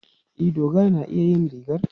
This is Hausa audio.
E, Dogara na iya yin rigar.